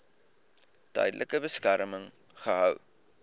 tydelike beskerming gehou